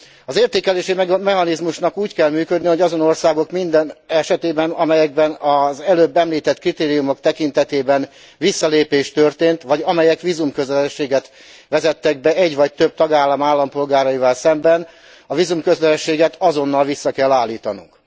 Az értékelési mechanizmusnak úgy kell működnie, hogy minden olyan ország esetében, amelyekben az előbb említett kritériumok tekintetében visszalépés történt, vagy amelyek vízumkötelezettséget vezettek be egy vagy több tagállam állampolgáraival szemben, a vízumkötelezettséget azonnal vissza kell állítanunk.